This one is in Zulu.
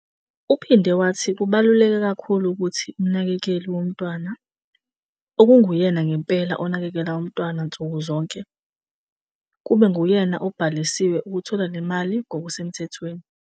Uphinde wathi kubaluleke kakhulu ukuthi umnakekeli womntwana, okunguyena ngempela onakekela umntwana nsuku zonke, kube nguyena obhaliswe ukuthola le mali ngokusemthethweni.